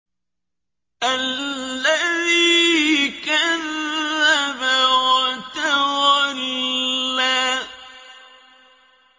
الَّذِي كَذَّبَ وَتَوَلَّىٰ